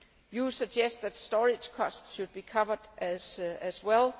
You suggest that storage costs should be covered as well.